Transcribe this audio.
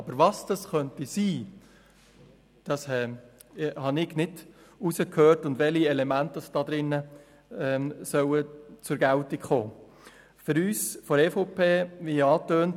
Aber was diese sein könnten und welche Elemente darin zur Geltung kommen sollen, habe ich nicht herausgehört.